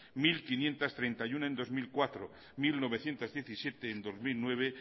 mil quinientos treinta y uno en dos mil cuatro mil novecientos diecisiete en dos mil nueve